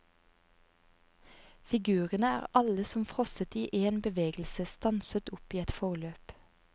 Figurene er alle som frosset i én bevegelse, stanset opp i et forløp.